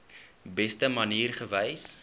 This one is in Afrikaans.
beste manier gewees